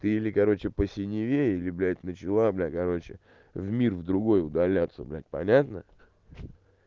ты или короче по синеве или блядь начала блядь короче в мир в другой удаляться блядь понятно